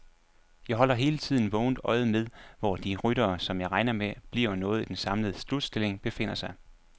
Jeg holder hele tiden vågent øje med, hvor de ryttere, som jeg regner med bliver noget i den samlede slutstilling, befinder sig.